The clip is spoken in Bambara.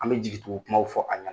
An bɛ jigitugu kumaw fɔ a ɲa